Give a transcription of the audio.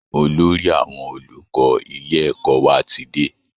Olórí àwọn olùkọ́ ilé ẹ̀kọ́ wa ti dé